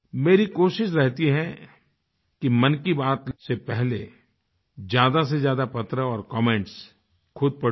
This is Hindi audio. मेरी कोशिश रहती है कि मन की बात से पहले ज्यादा से ज्यादा पत्र और कमेंट्स खुद पढूँ